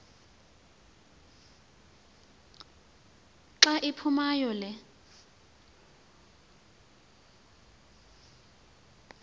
xa iphumayo le